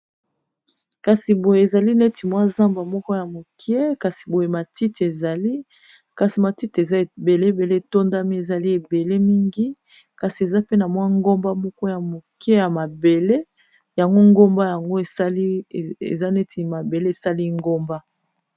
kasi boye ezali neti mwa zamba moko ya mokie kasi boye matite ezali kasi matite eza ebeleebele etondami ezali ebele mingi kasi eza pe na mwa ngomba moko ya moke ya mabele yango ngomba yango eza neti mabele esali ngomba